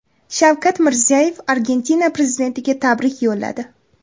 Shavkat Mirziyoyev Argentina prezidentiga tabrik yo‘lladi.